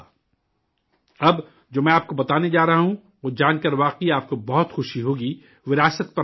اب جو میں آپ کو بتانے جا رہا ہوں، وہ جان کر واقعی آپ کو بہت خوشی ہوگی، وراثت پر ناز ہوگا